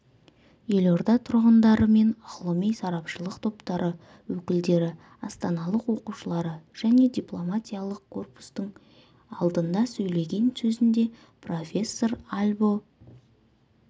елорда тұрғындары мен ғылыми-сарапшылық топтары өкілдері астаналық оқушылары және дипломатиялық корпустың алдында сөйлеген сөзінде профессор альбо